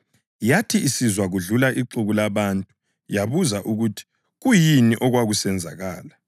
Yathi isizwa kudlula ixuku labantu yabuza ukuthi kuyini okwakusenzakala.